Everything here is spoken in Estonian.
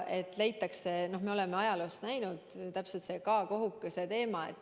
Me oleme ajaloos neid võimalusi näinud, näiteks see K-kohukese teema.